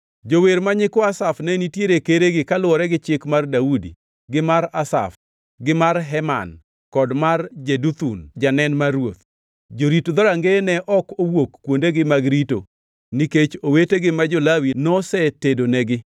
Jower ma nyikwa Asaf ne nitiere keregi kaluwore gi chik mar Daudi gi mar Asaf gi mar Heman kod mar Jeduthun janen mar ruoth. Jorit dhorangeye ne ok owuok kuondegi mag rito nikech owetegi ma jo-Lawi nosetedonigi.